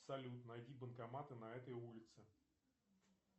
салют найди банкоматы на этой улице